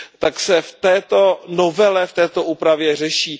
tak se v této novele, v této úpravě řeší.